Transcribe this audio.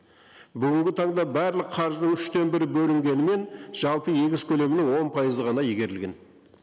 бүгінгі таңда барлық қаржының үштен бір бөлінгенімен жалпы егіс көлемінің он пайызға ғана игерілген